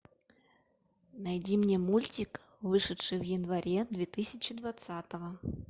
найди мне мультик вышедший в январе две тысячи двадцатого